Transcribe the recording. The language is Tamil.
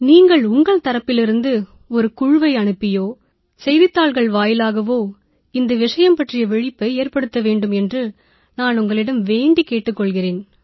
நீங்கள் உங்கள் தரப்பிலிருந்து ஒரு குழுவை அனுப்பியோ செய்தித்தாள்கள் வாயிலாகவோ இந்த விஷயம் பற்றிய விழிப்பை ஏற்படுத்த வேண்டும் என்று நான் உங்களிடம் வேண்டிக் கேட்டுக் கொள்கிறேன்